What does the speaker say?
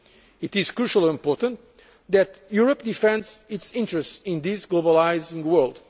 for trade. It is crucially important that Europe defend its interests in this globalising